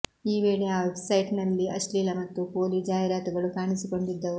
ಈ ವೇಳೆ ಆ ವೆಬ್ಸೈಟ್ನಲ್ಲಿ ಅಶ್ಲೀಲ ಮತ್ತು ಪೋಲಿ ಜಾಹೀರಾತುಗಳು ಕಾಣಿಸಿಕೊಂಡಿದ್ದವು